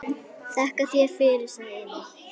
Þakka þér fyrir, sagði Emil.